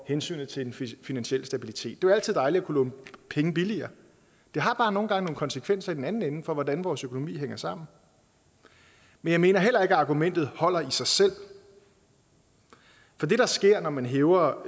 hensynet til den finansielle stabilitet det er altid dejligt at kunne låne penge billigere det har bare nogle gange nogle konsekvenser i den anden ende for hvordan vores økonomi hænger sammen men jeg mener heller ikke at argumentet holder i sig selv det der sker når man hæver